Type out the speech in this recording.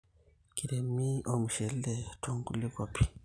Keiremi ormushele to nkulie kuapin